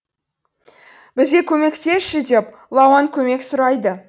бізге көмектесші деп лауан көмек сұрайды